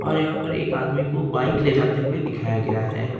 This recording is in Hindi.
और यहां पर एक आदमी को बाइक ले जाते हुए दिखाया गया है।